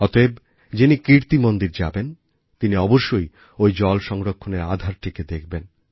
অতএব যিনি কীর্তি মন্দির যাবেন তিনি অবশ্যই ওই জল সংরক্ষণের আধারটিকে দেখবেন